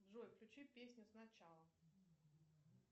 джой включи песню сначала